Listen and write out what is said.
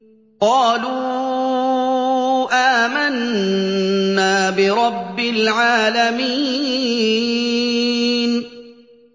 قَالُوا آمَنَّا بِرَبِّ الْعَالَمِينَ